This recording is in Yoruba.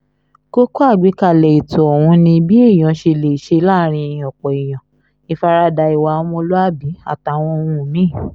kókó àgbékalẹ̀ ètò ọ̀hún ni bí èèyàn ṣe lè ṣe láàrin ọ̀pọ̀ èèyàn ìfaradà ìwà ọmọlúàbí àtàwọn ohun mí-ín